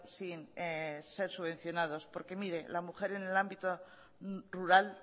sin ser subvencionados porque mire la mujer en el ámbito rural